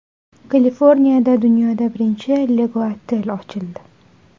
Kaliforniyada dunyoda birinchi Lego-otel ochildi.